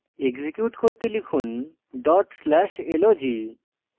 execute করতে লিখুন dot slash log